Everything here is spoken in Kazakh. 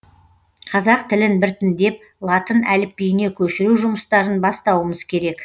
қазақ тілін біртіндеп латын әліпбиіне көшіру жұмыстарын бастауымыз керек